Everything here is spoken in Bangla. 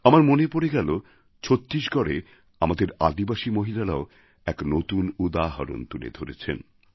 আমার মনে পড়ে গেল ছত্তিশগড়ে আমাদের আদিবাসী মহিলারাও এক নতুন উদাহরণ তুলে ধরেছেন